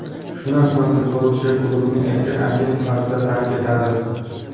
Shundan so‘ng futbolchi klubni erkin agent sifatida tark etadi.